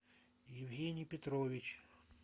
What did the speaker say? евгений петрович